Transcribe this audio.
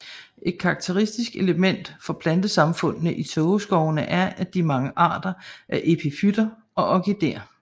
Et karakteristisk element for plantesamfundene i tågeskovene er de mange arter af epifytter og orkidéer